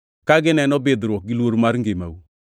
ka gineno bidhruok gi luor mar ngimau.